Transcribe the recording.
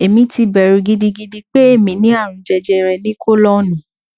èmi ti bẹrù gidigidi pé èmi ní àrùn jejere ní kọlọnnù